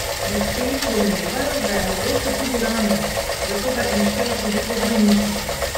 Medtem domnevajo, da je mogoče tudi ranjen, zato ga iščejo tudi po bolnišnicah.